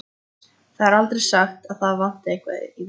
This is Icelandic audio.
Það er aldrei sagt að það vanti eitthvað í þá.